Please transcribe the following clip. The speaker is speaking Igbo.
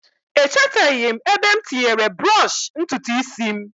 Echeteghi' m ebe m tinyere brọsh ntutu isi m